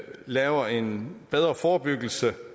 laver en bedre forebyggelse